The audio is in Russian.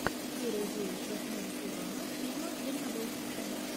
серия девять восьмого сезона фильма дальнобойщики